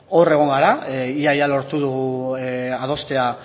hor egon gara ia ia lortu dugu adostea